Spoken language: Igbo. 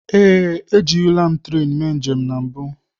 Ee, ejirila m tren mee njem na mbụ.